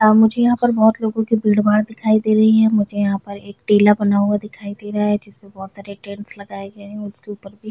य मुझे यहाँ पर बहुत लोगों की भीड़ -भाड़ दिखाई दे रही है मुझे यहाँ पर एक टीला बना हुआ दिखाई दे रहा है जिसमें बहुत सारे टेंट्स लगाये गए है उसके ऊपर भी --